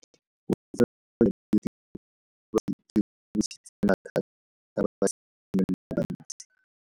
Botshelo jwa diritibatsi ke bo tlisitse mathata mo basimaneng ba bantsi.